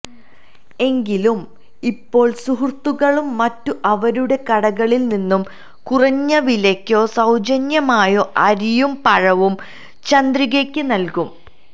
എങ്കിലും ഇപ്പോള് സുഹൃത്തുക്കളും മറ്റും അവരുടെ കടകളില്നിന്ന് കുറഞ്ഞവിലയ്ക്കോ സൌജന്യമായോ അരിയും പഴവും ചന്ദ്രികയ്ക്ക് നല്കും